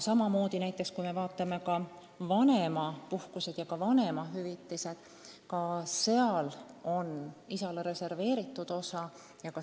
Aga kui me vaatame vanemapuhkusi ja vanemahüvitisi, siis ka nende puhul on isale reserveeritud osa.